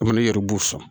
Komi ne yɛrɛ b'u fɔ